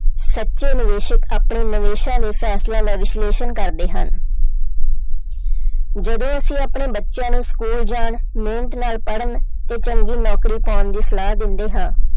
ਸੱਚੇ ਨਿਵੇਸਕ ਆਪਣੇ ਨਿਵੇਸਾਂ ਦੇ ਫੈਸਲਿਆਂ ਦਾ ਵਿਸ਼ਲੇਸ਼ਣ ਕਰਦੇ ਹਨ ਜਦੋਂ ਅਸੀਂ ਆਪਣੇ ਬੱਚਿਆਂ ਨੂੰ school ਜਾਣ, ਮਿਹਨਤ ਨਾਲ ਪੜ੍ਹਨ ਤੇ ਚੰਗੀ ਨੌਕਰੀ ਪਾਉਣ ਦੀ ਸਲਾਹ ਦਿੰਦੇ ਹਾਂ,